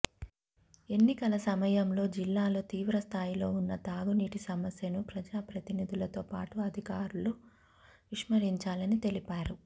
ఎన్నికల సమయంలో జిల్లాలో తీవ్రస్థాయిలో ఉన్న తాగునీటి సమస్యను ప్రజాప్రతినిధులతోపాటు అధికారులూ విస్మరించారని తెలిపారు